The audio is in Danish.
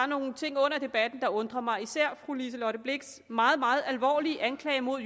nogle ting under debatten der undrede mig især fru liselott blixts meget meget alvorlig anklage mod